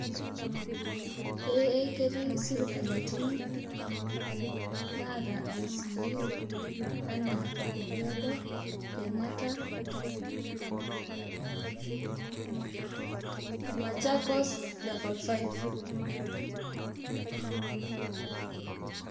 Ee ketii sipitalini naata icu anaa orkejuado ,kenyatta ,o machakos level five